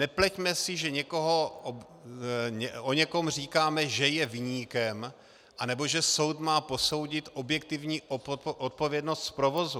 Nepleťme si, že o někom říkáme, že je viníkem anebo že soud má posoudit objektivní odpovědnost z provozu.